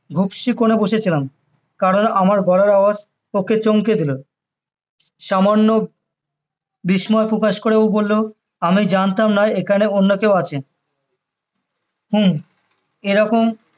ঘুপসি কোনে বসে ছিলাম কারণ আমার গলার আওয়াজ ওকে চমকে দিলো সামান্য বিস্ময় প্রকাশ করে ও বললো আমি জানতাম না এখানে অন্য কেউ আছে হম এরকম